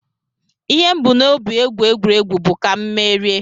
Ihe m bu n'obi egwu egwuregwu bụ ka mụ merie